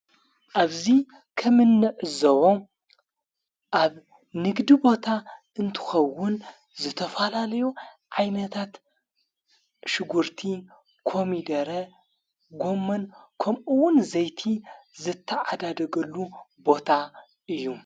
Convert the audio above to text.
ኣብዙይ ከምነእዘቦ ኣብ ንግዲ ቦታ እንትኸውን ዘተፋላለዩ ዓይመታት ሽጕርቲ ኮሚደረ ጎመን ከምኡውን ዘይቲ ዘተዓዳደገሉ ቦታ እዩ።